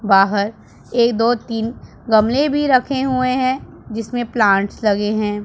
बाहर एक दो तीन गमले भी रखे हुए हैं जिसमें प्लांट्स लगे हैं।